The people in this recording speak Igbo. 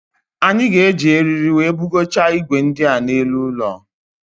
Anyị ga-eji eriri wee bugocha igwe ndia n'elu ụlọ